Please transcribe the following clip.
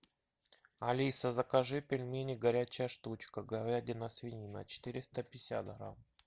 алиса закажи пельмени горячая штучка говядина свинина четыреста пятьдесят грамм